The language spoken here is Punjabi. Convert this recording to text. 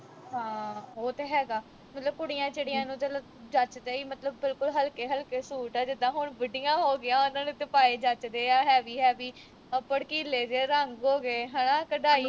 ਹਾਂ ਉਹ ਤੇ ਹੈਗਾ ਮਤਲਬ ਕੁੜੀਆਂ ਚਿੜੀਆਂ ਨੂੰ ਜੱਚਦੇ ਈ ਮਤਲਬ ਬਿਲਕੁਲ ਹਲਕੇ ਹਲਕੇ ਸੂਟ ਜਿੱਦਾ ਹੁਣ ਬੁੜੀਆਂ ਹੋ ਗਈਆ ਉਨ੍ਹਾਂ ਨੂੰ ਤਾਂ ਪਾਏ ਜੱਚਦੇ heavy ਭੜਕੀਲੇ ਜੇ ਰੰਗ ਹੋ ਗਏ ਹਣਾ ਕਢਾਈ